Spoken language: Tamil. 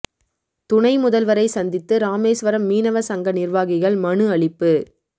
துணை முதல்வரை சந்தித்து ராமேசுவரம் மீனவ சங்க நிா்வாகிகள் மனு அளிப்பு